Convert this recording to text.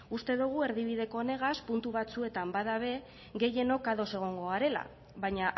uste dogu erdibideko honegaz puntu batzuetan bada be gehienok ados egongo garela baina